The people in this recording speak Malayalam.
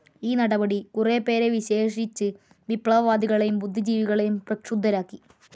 ഈ നടപടി കുറെ പേരെ, വിശേഷിച്ച് വിപ്ലവവാദികളേയും ബുദ്ധിജീവികളേയും പ്രക്ഷുബ്ധരാക്കി.